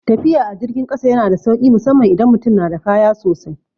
Tafiya a jirgin kasa yana da sauki musamman idan mutum na da kaya sosai.